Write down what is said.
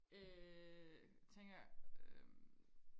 øh tænker øhm